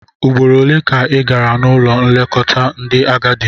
Ugboro ole ka ị gara n'ụlọ nlekọta ndị agadi?